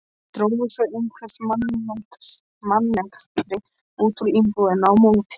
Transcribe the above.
Drógu svo eitthvert mannkerti út úr íbúðinni á móti.